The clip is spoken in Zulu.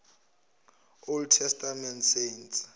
old testament saints